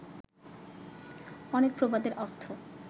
অনেক প্রবাদের অর্থ